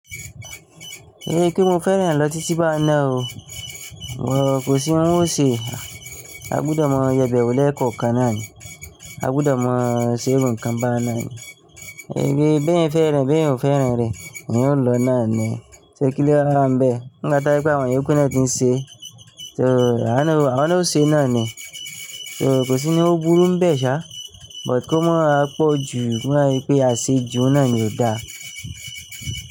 Kín ṣe pé mo fẹ́ràn rẹ̀ lọ títí bá náà o, wò kò sí ohun ọ ṣe, a gbúdọ̀ máa yebẹ̀ wò lẹ́kọ̀ọ̀ kan náà ni, a gbúdọ̀ máa ṣe irun kan bá náà ni. Gbigbe bẹ́ẹ̀ n fẹ́ràn, bẹ́ẹ̀ n o fẹ́ràn rẹ, eyin o n lọ náà ni. Se kilo wa wa n bẹ, n gba tó jẹ́ wípé àwọn ìyókù náà ti n ṣe, so àwa náà o ṣe náà ni, so kò sí ní o burú n bẹ́ẹ̀ ṣá, but ko mo wa pọ̀ jù, ti i ba n sepe aṣejù n náà ni o dá.